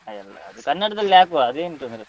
ಹಾ ಎಲ್ಲ ಅದು ಕನ್ನಡದಲ್ಲಿ ಹಾಕುವ ಅದೇನು ತೊಂದ್ರೆ ಇಲ್ಲ.